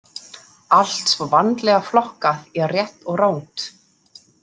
Allt svo vandlega flokkað í rétt og rangt.